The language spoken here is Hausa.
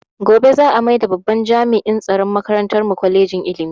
Gobe za a maida babban jami'in tsaron makarantar mu kwalejin ilimi